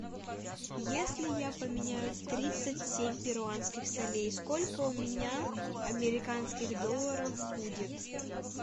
если я поменяю тридцать семь перуанских солей сколько у меня американских долларов будет